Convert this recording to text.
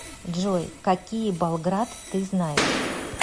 джой какие болград ты знаешь